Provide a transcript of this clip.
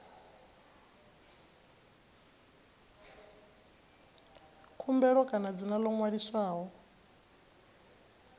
khumbelo kana dzina ḽo ṅwaliswaho